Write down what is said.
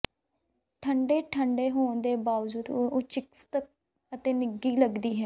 ਠੰਡੇ ਠੰਡੇ ਹੋਣ ਦੇ ਬਾਵਜੂਦ ਉਹ ਚਿਕਿਤਸਕ ਅਤੇ ਨਿੱਘੇ ਲਗਦੀ ਹੈ